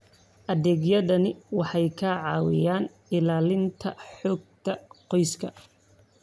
Adeegyadani waxay ka caawiyaan ilaalinta xogta qoyska.